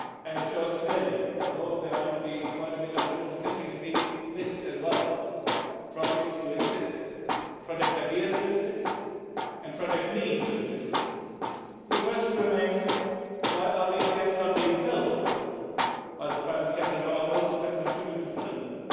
It shows clearly that, although there might be quite a bit of wishful thinking in these lists as well, projects do exist, as do project ideas and project needs, so the question remains why are these gaps not being filled by the private sector and by all those who can contribute to filling them?